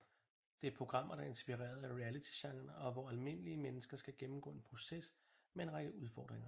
Det er programmer der er inspireret af realitygenren og hvor almindelige mennesker skal gennemgå en proces med en række udfordringer